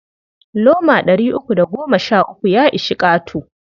Loma ɗari uku da goma sha uku ya ishi ƙato.